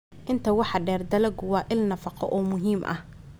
Intaa waxaa dheer, dalaggu waa il nafaqo oo muhiim ah.